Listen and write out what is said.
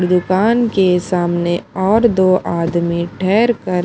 दुकान के सामने और दो आदमी ठहरकर--